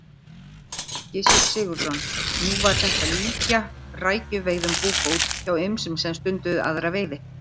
Gissur Sigurðsson: Nú var þetta líkja rækjuveiðum búbót hjá ýmsum sem stunduðu aðra veiði?